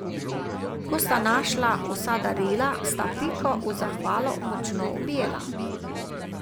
Ko sta našla vsa darila, sta Piko v zahvalo močno objela.